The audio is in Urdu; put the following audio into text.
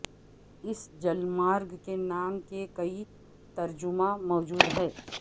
اس جلمارگ کے نام کے کئی ترجمہ موجود ہیں